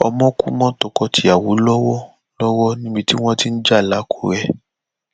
ọmọ kú mọ tọkọtìyàwó lọwọ lọwọ níbi tí wọn ti ń ja lákùrẹ